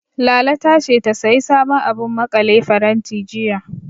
Lala ta ce, ta sayi sabon abun maƙale faranti, jiya.